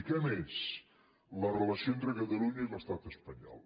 i què més la relació entre catalunya i l’estat espanyol